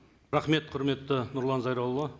рахмет құрметті нұрлан зайролла